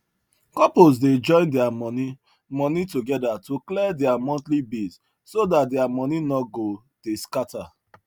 couples dey join their money money together to clear their monthly bills so that their money no go dey scatter